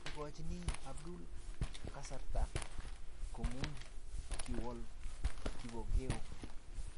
Moikochini Abdul kasarta komuny, kiwol Kipokeo